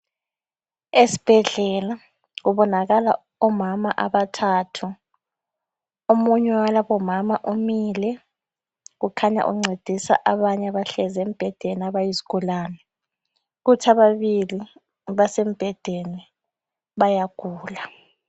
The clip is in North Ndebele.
Esibhedlela kubonakala omama abathathu . Omunye walabomama umile kukhanya uncedisa abanye abahlezi embhedeni abayizigulane . Kuthi ababili basembhedeni bayagula.